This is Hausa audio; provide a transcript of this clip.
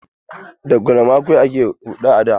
Da galma kaɗai ake huɗa a da.